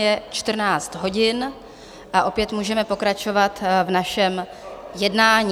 Je 14 hodin a opět můžeme pokračovat v našem jednání.